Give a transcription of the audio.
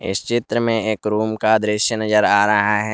इस चित्र में एक रूम का दृश्य नजर आ रहा है।